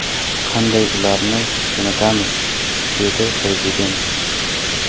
Qanday ularni jo‘natamiz?”, dedi Prezident.